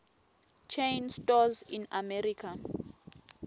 chain stores in america